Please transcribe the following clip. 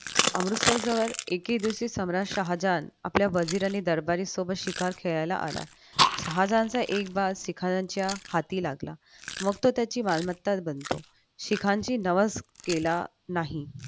अमृतसर जवळ एके दिवशी सम्राट शहाजहान आपल्या बाजीरांसोबत दरबारी शिकार खेळायला आला शहाजहानच्या एक बाग शिकाऱ्यांच्या हाती लागला मग त्याची तो मालमत्ताच बनतो शिखांची नवस केला नाही